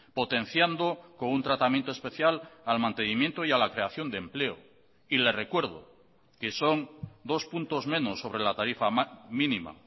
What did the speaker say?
potenciando con un tratamiento especial al mantenimiento y a la creación de empleo y le recuerdo que son dos puntos menos sobre la tarifa mínima